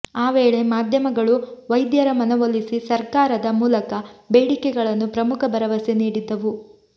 ಆ ವೇಳೆ ಮಾಧ್ಯಮಗಳು ವೈದ್ಯರ ಮನವೊಲಿಸಿ ಸರಕಾರದ ಮೂಲಕ ಬೇಡಿಕೆಗಳನ್ನು ಪ್ರಮುಖ ಭರವಸೆ ನೀಡಿದ್ದವು